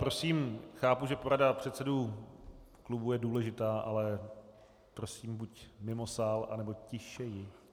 Prosím, chápu, že porada předsedů klubů je důležitá, ale prosím buď mimo sál, nebo tišeji.